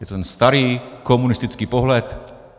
Je to ten starý, komunistický pohled.